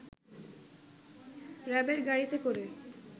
র‌্যাবের গাড়িতে করে